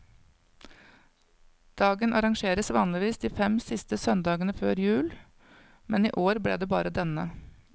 Dagen arrangeres vanligvis de fem siste søndagene før jul, men i år ble det bare denne.